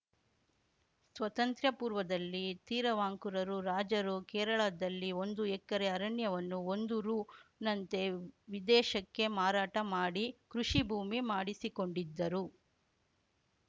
ಸ್ವತಂತ್ರ್ಯ ಪೂರ್ವದಲ್ಲಿ ತಿರವಾಂಕೂರು ರಾಜರು ಕೇರಳದಲ್ಲಿ ಒಂದು ಎಕರೆ ಅರಣ್ಯವನ್ನು ಒಂದು ರುನಂತೆ ವಿದೇಶಕ್ಕೆ ಮಾರಾಟ ಮಾಡಿ ಕೃಷಿ ಭೂಮಿ ಮಾಡಿಸಿಕೊಂಡಿದ್ದರು